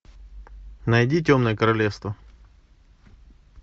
найди темное королевство